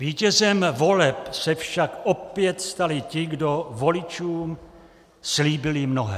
Vítězem voleb se však opět stali ti, kdo voličům slíbili mnohé.